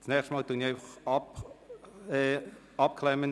Das nächste Mal werde ich Sie unterbrechen.